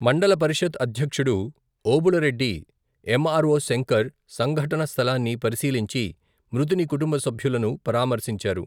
మండల పరిషత్ అధ్యక్షుడు, ఓబుళరెడ్డి ఎమ్.ఆర్.ఓ శంకర్, సంఘటన స్థలాన్ని పరిశీలించి, మృతుని కుటుంబ సభ్యులను పరామర్శించారు.